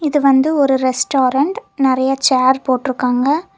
இது வந்து ஒரு ரெஸ்டாரன்ட் நறைய சேர் போட்டிருக்காங்க.